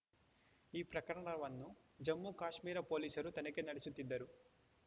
ಈ ಪ್ರಕರಣವನ್ನು ಜಮ್ಮುಕಾಶ್ಮೀರ ಪೊಲೀಸರು ತನಿಖೆ ನಡೆಸುತ್ತಿದ್ದರು